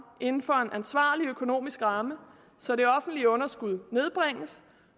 inden for en ansvarlig økonomisk ramme så det offentlige underskud nedbringes